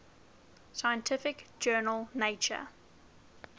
scientific journal nature